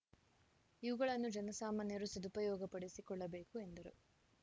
ಇವುಗಳನ್ನು ಜನಸಾಮಾನ್ಯರು ಸದುಪಯೋಗ ಪಡಿಸಿಕೊಳ್ಳಬೇಕು ಎಂದರು